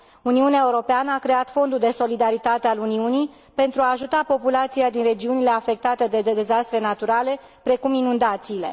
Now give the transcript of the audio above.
Uniunea Europeană a creat Fondul de solidaritate al Uniunii pentru a ajuta populația din regiunile afectate de dezastre naturale, precum inundațiile.